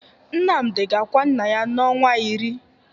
Nnamdị ga-akwa nna ya n'ọnwa iri.